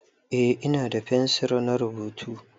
Eh ina da fensir na rubutu.